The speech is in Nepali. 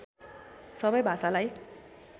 सबै भाषालाई